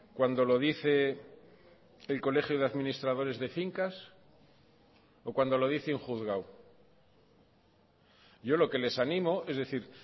cuándo lo dice el colegio de administradores de fincas o cuando lo dice un juzgado yo lo que les ánimo es decir